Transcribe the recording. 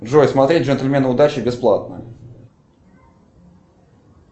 джой смотреть джентльмены удачи бесплатно